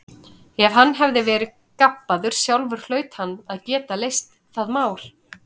Ef hann hafði verið gabbaður sjálfur hlaut hann að geta leyst það mál.